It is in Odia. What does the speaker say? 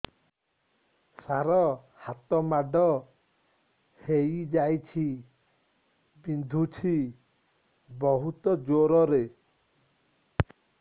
ସାର ହାତ ମାଡ଼ ହେଇଯାଇଛି ବିନ୍ଧୁଛି ବହୁତ ଜୋରରେ